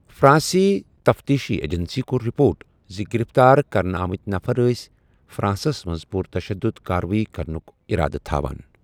فرانٛسی تفتیشی ایجنسی کوٚر رِپوٹ زِ گرفتار کرنہ آمتۍ نفر ٲسۍ فرانسس منز پُر تشدُد کاروٲیی کرنُک اِرادٕ تھاوان ۔